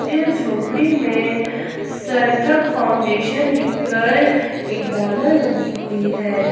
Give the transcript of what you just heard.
जिस झोपड़ी में सर्थक फाउंडेशन लिखकर एक बैनर लगी हुई है।